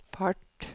fart